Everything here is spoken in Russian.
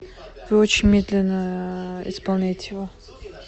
вы очень медленно исполняете его